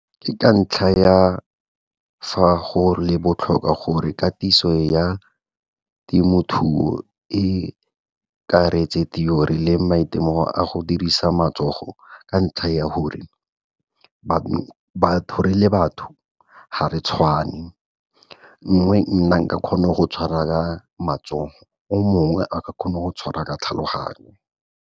Ke ka ntlha ya fa go le botlhokwa gore katiso ya temothuo e akaretse theory le maitemogelo a go dirisa matsogo, ka ntlha ya gore re le batho ga re tshwane. Gongwe nna nka kgona go tshwara ka matsogo, o mongwe a ka kgona go tshwara ka tlhaloganyo.